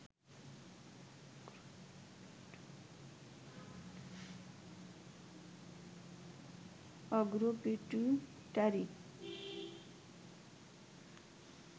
অগ্র pituitary